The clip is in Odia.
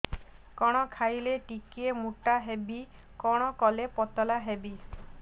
କଣ ଖାଇଲେ ଟିକେ ମୁଟା ହେବି କଣ କଲେ ପତଳା ହେବି